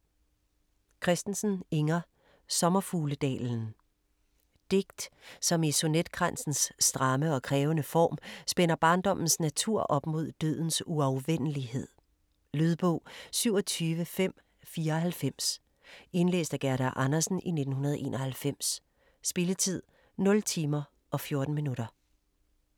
Christensen, Inger: Sommerfugledalen Digt, som i sonetkransens stramme og krævende form spænder barndommens natur op mod dødens uafvendelighed. Lydbog 27594 Indlæst af Gerda Andersen, 1991. Spilletid: 0 timer, 14 minutter.